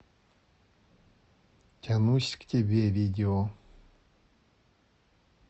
тянусь к тебе видео